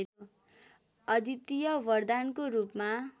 अद्वितीय वरदानको रूपमा